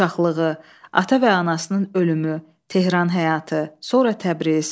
Uşaqlığı, ata və anasının ölümü, Tehran həyatı, sonra Təbriz.